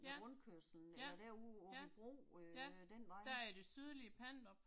Ja, ja, ja, ja der i det sydlige Pandrup